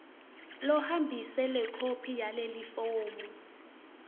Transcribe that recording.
lohambise lekhophi yalelifomu